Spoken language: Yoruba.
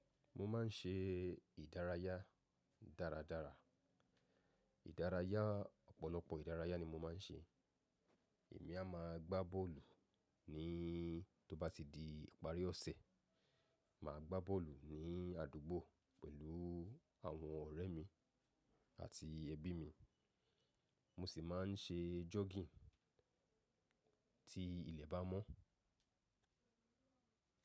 Mo má n ṣe ìdárayá dáradára. Ìdárayá ọ̀pọ̀lọpọ̀ ìdárayá ni mo má n ṣe. Èmi a má a gbá bọ́ọ̀lù ní tó bá ti di ìparí ọ̀sẹ̀. Mà á gbá bọ́ọ̀lù ní àdúgbò pẹ̀lú àwọn ọ̀rẹ́ mi àti ẹbí mi. Mo sì má n ṣe jọ́gìning tí ilẹ̀ bá mọ́.